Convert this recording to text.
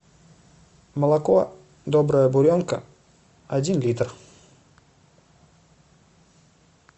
молоко добрая буренка один литр